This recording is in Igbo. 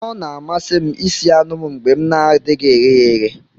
Ọ na-amasị m ịsi anu m mgbe m na-adịghị eghe ya eghe